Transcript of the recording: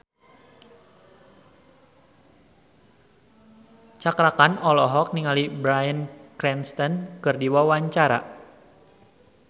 Cakra Khan olohok ningali Bryan Cranston keur diwawancara